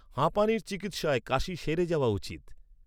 হাঁপানির চিকিৎসায় কাশি সেরে যাওয়া উচিত।